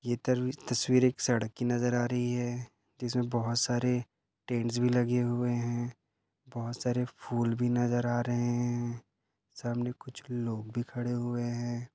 ये तर- तस्वीर एक सड़क की नजर आ रही है इसमे बहुत सारे टेंट्स भी लगे हुए है बहुत सारे फूल भी नजर आ रहे है सामने कुछ लोग भी खड़े हुए है।